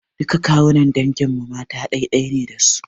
Duk kawunnan dangin mu mata ɗai-ɗai ne da su.